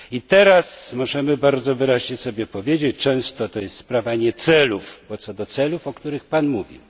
Teraz możemy bardzo wyraźnie sobie powiedzieć, że często to jest sprawa nie celów, o których Pan mówił.